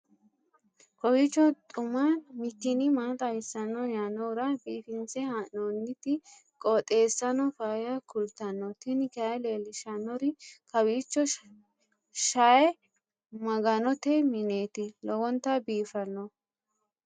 kowiicho xuma mtini maa xawissanno yaannohura biifinse haa'noonniti qooxeessano faayya kultanno tini kayi leellishshannori kawiicho shae maga'note mineeti lowonta biiiffanno